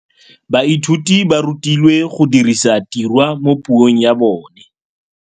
Baithuti ba rutilwe go dirisa tirwa mo puong ya bone.